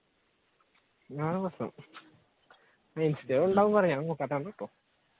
അതാണ് പ്രശ്നം ഇൻസ്റ്റയിൽ ഉണ്ട് കുറെ ഞാൻ നോക്കാത്ത കാരണം ആണ്